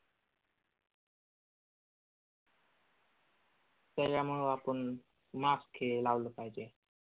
तर यामुळे आपण mask हे लावलं पाहिजे.